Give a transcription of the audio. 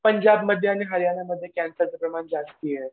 पंजाब मध्ये आणि हरियाणामध्ये कॅन्सरचं प्रमाण जास्ती आहे.